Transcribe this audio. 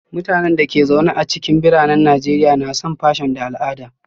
Mutanen da ke zaune a cikin biranen Najeriya na son fission da al'ada